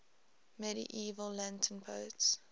medieval latin poets